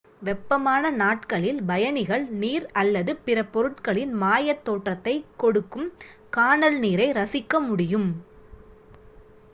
வெப்பமான நாட்களில் பயணிகள் நீர் அல்லது பிற பொருட்கள் இன் மாய தோற்றத்தை கொடுக்கும் கானல் நீரை ரசிக்க முடியும்